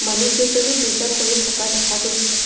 মানুহকেইজনে পূজা কৰি থকা দেখা গৈছে।